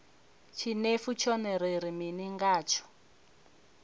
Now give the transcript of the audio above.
tshinefu tshone ri ri mini ngatsho